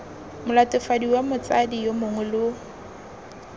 molatofadiwa motsadi yo mongwe lo